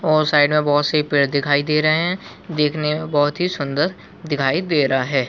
और साइड में बहोत से पेड़ दिखाई दे रहे है देखने में बहोत सुंदर दिखाई दे रहा है।